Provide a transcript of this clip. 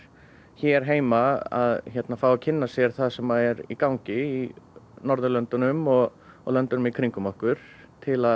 hér heima að fá að kynna sér það sem er í gangi í Norðurlöndunum og og löndunum í kringum okkur til að